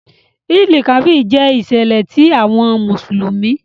Eid-el-Kabir jẹ iṣẹlẹ ti awọn Musulumi.